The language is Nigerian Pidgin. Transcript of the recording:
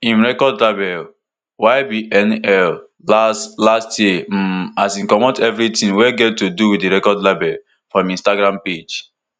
im record label ybnl late last year um as e comot evritin wey get to do wit di record label from im instagram page